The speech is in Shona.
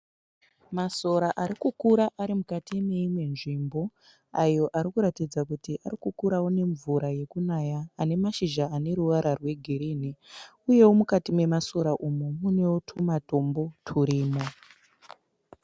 Masora ari kukura ari mukati meimwe nzvimbo, ayo arikuratidza kuti arikukuraó nemvura yekunaya ane mashizha ane ruwara rwe girini, uyeo mukati memasora umu muneo tumatombo turimo.